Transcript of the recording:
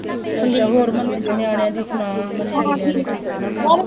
ਅੱਛਾ ਹੋਰ ਮੰਨੇ ਦੇ ਨਿਆਣਿਆਂ ਦੀ ਸੁਣਾ, ਮੰਨੇ ਦੇ ਨਿਆਣੇ ਠੀਕ ਠਾਕ ਹੈ